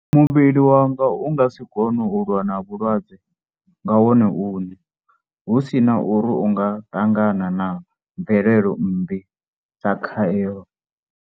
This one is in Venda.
Muvhili wanga u nga si kone u lwa na vhu lwadze nga wone uṋe, hu si na uri u nga ṱangana na mvelelo mmbi dza khaelo?